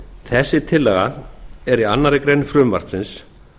þessi tillaga er í annarri grein frumvarpsins